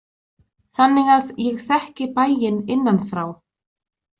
Þannig að ég þekki bæinn innanfrá.